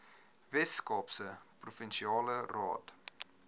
weskaapse provinsiale raad